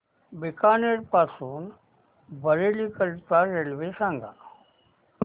बीकानेर पासून बरेली करीता रेल्वे सांगा